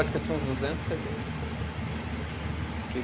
Eu acho que eu tinha uns duzentos cê dês, assim. Que